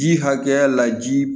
Ji hakɛya la ji